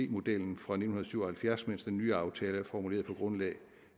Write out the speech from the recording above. modellen fra nitten syv og halvfjerds mens den nye aftale er formuleret på grundlag